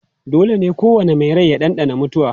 Dole ne kowane mai rai ya ɗanɗana mutuwa